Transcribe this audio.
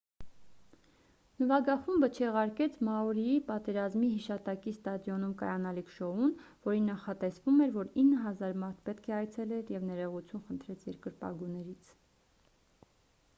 նվագախումբը չեղարկեց մաուրիի պատերազմի հիշատակի ստադիոնում կայանալիք շոուն որին նախատեսվում էր որ 9,000 մարդ պետք է այցելեր և ներողություն խնդրեց երկրպագուներից